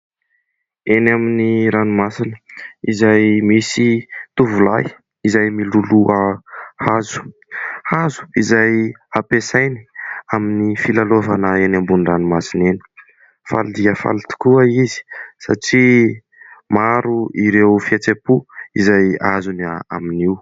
Eny amin'ny ranomasina izay misy tovolahy izay miloloha hazo. Hazo izay ampiasainy amin'ny fialalaovana eny ambony ranomasina eny. Faly dia faly tokoa izy satria maro ireo fihetseham-po izay azony amin'io.